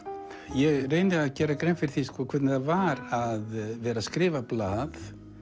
ég reyni að gera grein fyrir því hvernig það var að vera að skrifa í blað